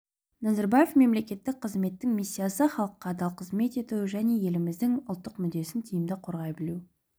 назарбаев мемлекеттік қызметтің миссиясы халыққа адал қызмет ету және еліміздің ұлттық мүддесін тиімді қорғай білу